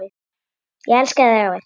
Ég elska þig, afi.